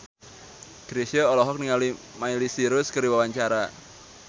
Chrisye olohok ningali Miley Cyrus keur diwawancara